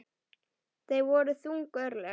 Það voru þung örlög.